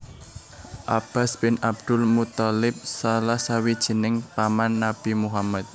Abbas bin Abdul Muththalib Salah sawijining paman Nabi Muhammad